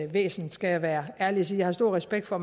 væsen skal jeg være ærlig og sige jeg har stor respekt for